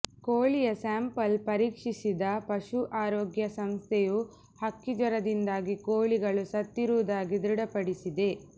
ಕೋಳಿಯ ಸ್ಯಾಂಪಲ್ ಪರೀಕ್ಷಿಸಿದ ಪಶು ಆರೋಗ್ಯ ಸಂಸ್ಥೆಯು ಹಕ್ಕಿ ಜ್ವರದಿಂದಾಗಿ ಕೋಳಿಗಳು ಸತ್ತಿರುವುದಾಗಿ ಧೃಡಪಡಿಸಿದೆ